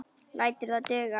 Lætur það duga.